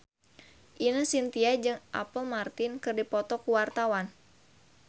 Ine Shintya jeung Apple Martin keur dipoto ku wartawan